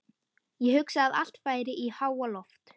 Ég hugsa að allt færi í háaloft.